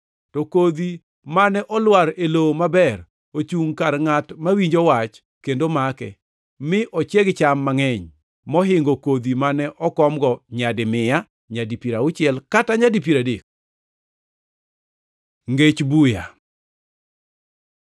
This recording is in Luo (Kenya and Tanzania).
To kodhi mane olwar e lowo maber ochungʼ kar ngʼat mawinjo wach kendo make, mi ochieg cham mangʼeny mohingo kodhi mane okomgo nyadi mia, nyadi piero auchiel kata nyadi piero adek.” Ngech buya